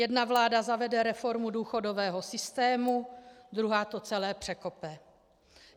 Jedna vláda zavede reformu důchodového systému, druhá to celé překope.